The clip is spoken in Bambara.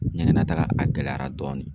Ɲɛgɛnnataga a gɛlɛyara dɔɔni